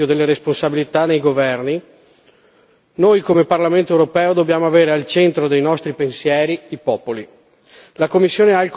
Perché al di là dei meriti o delle responsabilità dei governi noi come Parlamento europeo dobbiamo avere al centro dei nostri pensieri i popoli.